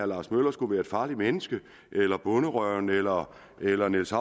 lars møller skulle være et farligt menneske eller bonderøven eller eller niels